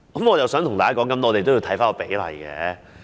我想跟大家說，我們也要看看比例。